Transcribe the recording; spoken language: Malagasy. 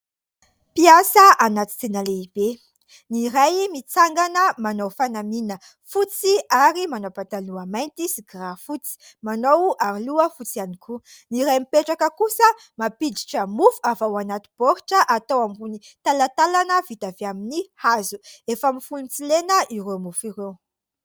Mpiasa anaty tsena lehibe. Ny iray mitsangana manao fanamiana fotsy ary manao pataloha mainty sy kiraro fotsy, manao aroloha fotsy ihany koa. Ny iray mipetraka kosa mampiditra mofo avy ao anaty baoritra atao ambony talantalana vita avy amin'ny hazo. Efa mifono tsilena ireo mofo ireo.